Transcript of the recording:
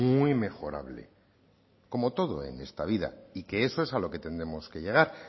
muy mejorable como todo en esta vida y que eso es a lo que tendremos que llegar